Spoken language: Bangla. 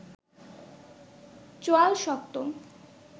চোয়াল শক্ত